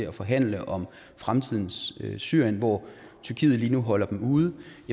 at forhandle om fremtidens syrien hvor tyrkiet lige nu holder dem ude